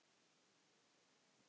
Þín systir Auður.